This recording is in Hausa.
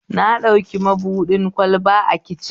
Na ɗauki mabuɗin kwalba a kicin